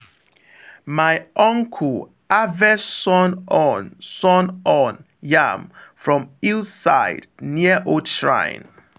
my uncle harvest sun horn sun horn yam from hill side near old shrine.